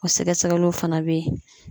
O sɛgɛsɛgɛliw fana be yen